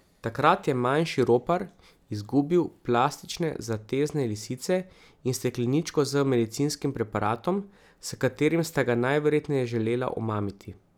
Takrat je manjši ropar izgubil plastične zatezne lisice in stekleničko z medicinskim preparatom, s katerim sta ga najverjetneje želela omamiti.